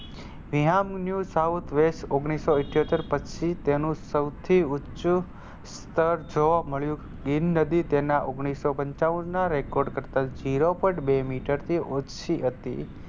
Niham News South West ઓગણીસો ઈઠોતેર પછી તેનું સૌથી ઊંચું સ્તર જોવા મળ્યું. ભીમ નદી તેના ઓગણીસો પંચાવન ના Record કરતાં zero point બે મીટરથી ઓછી હતી.